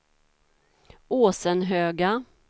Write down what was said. Åsenhöga